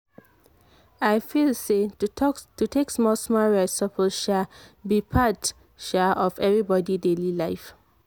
i feel say to take small-small rest suppose um be part um of everybody daily life.